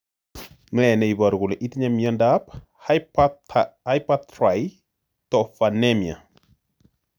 Ne ne iporu kole itinye miondap Hypertryptophanemia?